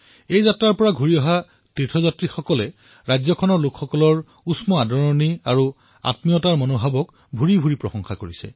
যিসকল সোকে যাত্ৰাৰ পৰা উভতি আহিছে তেওঁলোকে ৰাজ্যখনৰ উমাল আতিথ্য তথা আপোনত্বৰ ভাৱনাৰ গুণগান গাইছে